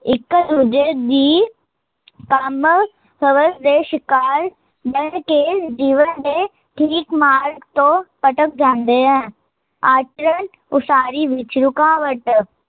ਇੱਕ ਦੂਜੇ ਦੀ ਕੰਮ, ਹਵਸ ਦੇ ਸ਼ਿਕਾਰ, ਬਣ ਕੇ ਜੀਵਨ ਦੇ, ਠੀਕ ਮਾਰਗ ਤੋਂ ਭਟਕ ਜਾਂਦੇ ਹਨ ਅੱਜ, ਉਸਾਰੀ ਵਿੱਚ ਰੁਕਾਵਟ